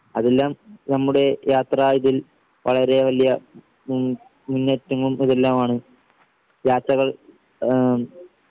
അതെല്ലാം നമ്മുടെ യാത്രാ ഇതിൽ വളരെ വലിയ ഉം തെല്ലാമാണ് യാത്രകൾ ആഹ്